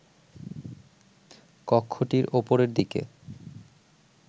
কক্ষটির ওপরের দিকে